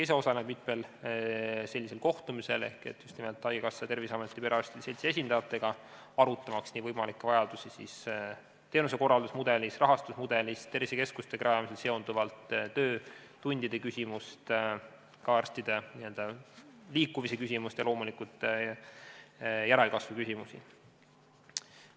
Ise osalen mitmel sellisel kohtumisel ehk just nimelt haigekassa, Terviseameti ja perearstide seltsi esindajatega, et arutada võimalikke vajadusi teenusekorraldusmudelis, rahastusmudelis, tervisekeskuste rajamisega seonduvat, töötundide küsimust, arstide liikumise küsimust ja loomulikult järelkasvu teemat.